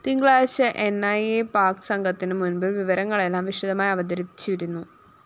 തിങ്കളാഴ്ച ന്‌ ഇ അ പാക് സംഘത്തിനു മുന്‍പില്‍ വിവരങ്ങളെല്ലാം വിശദമായി അവതരിപ്പിച്ചിരുന്നു